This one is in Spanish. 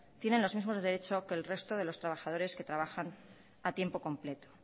tienen los mismos derechos que el resto de los trabajadores que trabajan a tiempo completo